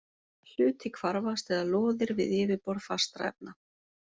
Hluti hvarfast eða loðir við yfirborð fastra efna.